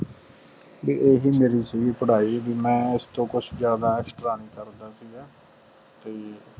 ਵੀ ਓਹੀ ਸੀਗੀ ਪੜ੍ਹਾਈ ਵੀ ਮੈਂ ਉਸਤੋਂ ਕੁਜ ਜਾਂਦਾ extra ਨਹੀਂ ਕਰਦਾ ਸੀਗਾ